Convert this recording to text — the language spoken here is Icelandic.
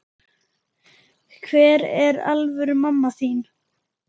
Hver er alvöru mamma þín?